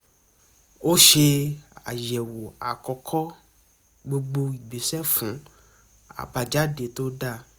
ó ṣe àyẹ̀wò àkókò gbogbo ìgbésẹ́ fún àbájáde tó dáa